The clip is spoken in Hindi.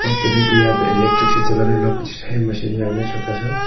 पहले तो यहां पे इलेक्ट्रिक से चलाने वाला कुछ है मशीन छोटा सा।